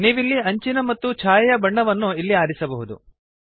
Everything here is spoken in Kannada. ನೀವಿಲ್ಲಿ ಅಂಚಿನ ಮತ್ತು ಛಾಯೆಯ ಬಣ್ಣವನ್ನು ಇಲ್ಲಿ ಆರಿಸಬಹುದು